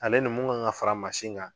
Ale ni min kan ka fara mansin kan